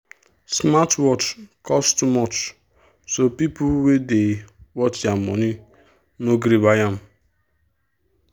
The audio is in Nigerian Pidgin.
smartwatch cost too much so people wey dey watch their money no gree buy am.